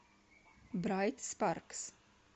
брайт спаркс